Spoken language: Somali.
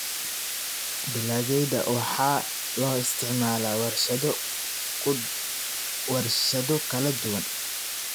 Dalagyada waxaa loo isticmaalaa warshado kala duwan.